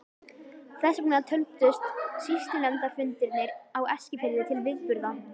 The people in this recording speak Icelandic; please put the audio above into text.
Þess vegna töldust sýslunefndarfundirnir á Eskifirði til viðburða.